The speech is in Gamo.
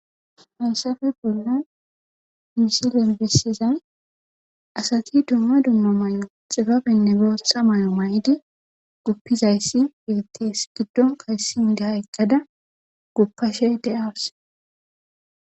Hayssafe bollan misilen bessizay asati dumma dumma xibabenne bootha mayo mayidi guppizayssi beetees giddonkka issi naya eqqada guppashe de7awus.